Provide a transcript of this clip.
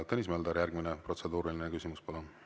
Tõnis Mölder, järgmine protseduuriline küsimus, palun!